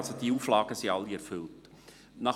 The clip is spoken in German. Also, diese Auflagen sind alle erfüllt.